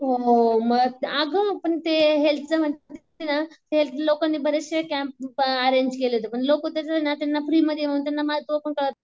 हो मग अगं पण ते हेल्थचं लोकांनी बरेचशे कॅम्प अरेंज केले होते पण लोक फ्रीमध्ये